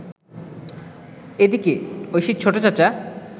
এদিকে, ঐশীর ছোট চাচা